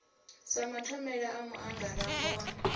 sa mathomela a muangarambo wa